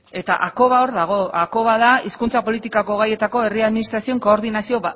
eta hakoba hor dago hakoba da hizkuntza politikako gaietako herri administrazioen koordinazio